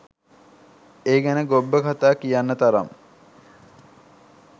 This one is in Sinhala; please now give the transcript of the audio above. ඒ ගැන ගොබ්බ කතා කියන්න තරම්